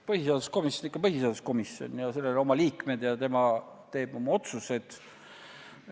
Põhiseaduskomisjon on ikka põhiseaduskomisjon, tal on oma liikmed ja tema teeb oma otsused.